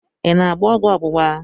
I na-agba ọgwụ ọgbụgba?